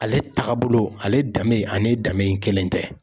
Ale tagabolo ale danbe ani danbe kelen tɛ.